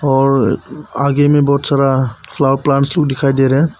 और आगे में बहुत सारा फ्लावर प्लांट भीं दिखाई दे रहे हैं।